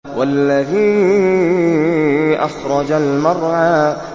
وَالَّذِي أَخْرَجَ الْمَرْعَىٰ